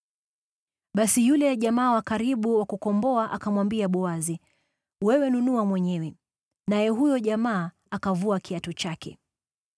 Basi yule jamaa wa karibu wa kukomboa akamwambia Boazi, “Wewe inunue mwenyewe.” Naye huyo jamaa akavua kiatu chake.